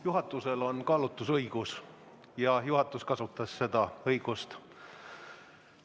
Juhatusel on kaalutlusõigus ja juhatus kasutas seda õigust.